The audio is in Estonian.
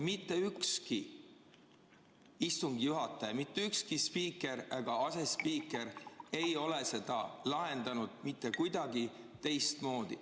Mitte ükski istungi juhataja, mitte ükski spiiker ega asespiiker ei ole seda lahendanud kuidagi teistmoodi.